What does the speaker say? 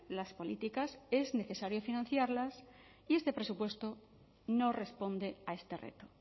las políticas es necesario financiarlas y este presupuesto no responde a este reto